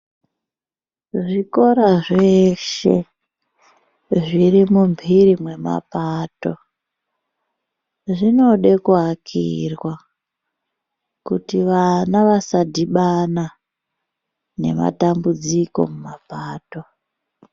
Zvikora zveshe zviri mumbiri mwemapato zvinoda kuakirwa kuti vana vasadhibana nematambudziko mumapato.